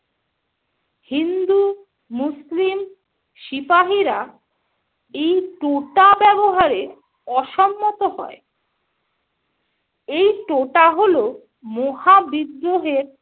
হিন্দু-মুসলিম সিপাহীরা এই টোটা ব্যবহারে অসম্মত হয়। এই টোটা হলো মহাবিদ্রোহের